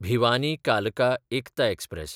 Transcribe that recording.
भिवानी–कालका Ekta express